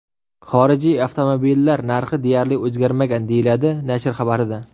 Xorijiy avtomobillar narxi deyarli o‘zgarmagan”, deyiladi nashr xabarida.